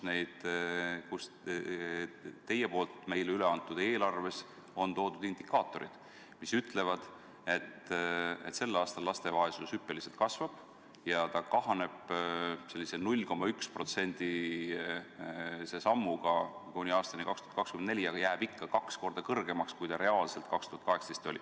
Teie poolt meile üleantud eelarve eelnõus on toodud indikaatorid, mis ütlevad, et sel aastal laste vaesus hüppeliselt kasvab ja siis kahaneb sellise 0,1%-lise sammuga kuni aastani 2024, aga jääb ikka kaks korda suuremaks, kui oli reaalselt aastal 2018.